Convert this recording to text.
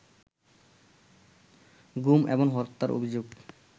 গুম এবং হত্যার অভিযোগ